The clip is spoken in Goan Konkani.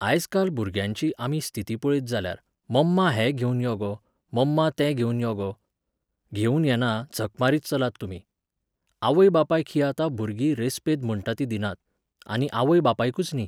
आयज काल भुरग्यांची आमी स्थिती पळयत जाल्यार, मम्मा हें घेवन यो गो, मम्मा तें घेवन यो गो. घेवन येना, झक मारीत चलात तुमी. आवय बापायक हीं आतां भुरगीं रेस्पेद म्हणटा तीं दिनात, आनी आवय बापायकूच न्ही,